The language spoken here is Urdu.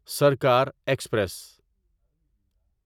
سرکار ایکسپریس